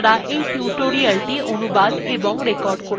আমি অন্তরা এই tutorialটি অনুবাদ এবং রেকর্ড করেছি